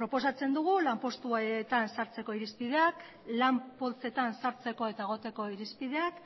proposatzen dugu lanpostuetan sartzeko irizpideak lan poltsetan sartzeko eta egoteko irizpideak